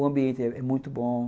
O ambiente é muito bom.